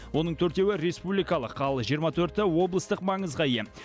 оның төртеуі республикалық ал жиырма төрті облыстық маңызға ие